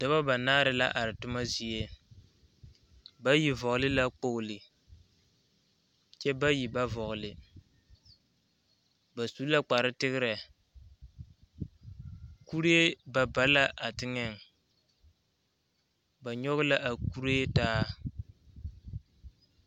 Dɔba banaare la are toma zie , bayi vɔgeli la kpolo kyɛ bayi ba vɔgeli ba su la kpar tegere kuree ba ba la a teŋɛ ba nyɔge la a kuree taa.